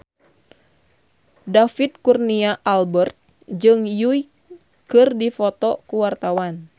David Kurnia Albert jeung Yui keur dipoto ku wartawan